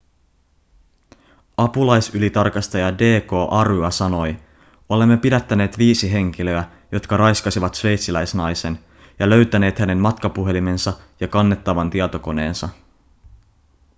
apulaisylitarkastaja d.k. arya sanoi olemme pidättäneet viisi henkilöä jotka raiskasivat sveitsiläisnaisen ja löytäneet hänen matkapuhelimensa ja kannettavan tietokoneensa